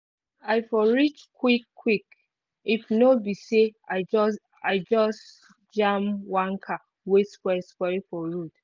I for reach quick quick if no be say I just I just jam one car wey spoil spoil for road.